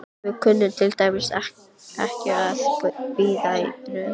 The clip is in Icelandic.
Við kunnum til dæmis ekki að bíða í röð.